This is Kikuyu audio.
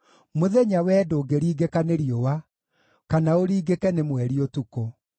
mũthenya wee ndũngĩringĩka nĩ riũa, kana ũringĩke nĩ mweri ũtukũ.